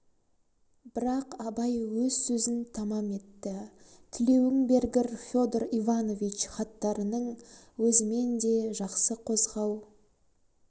бірақ абай өз сөзін тамам етті тілеуің бергір федор иванович хаттарының өзімен де жақсы қозғау